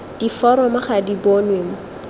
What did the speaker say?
diforomo ga di bonwe mo